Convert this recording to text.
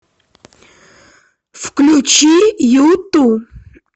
включи юту